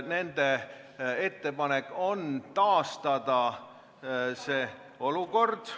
Nende ettepanek on taastada see olukord.